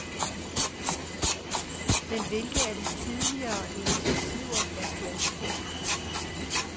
Men hvilke af de tidligere initiativer er fiaskoer.